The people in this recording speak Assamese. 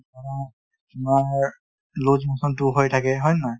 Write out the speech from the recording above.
তোমাৰ loose motion টোও হৈ থাকে | হয় নে নহ য় ?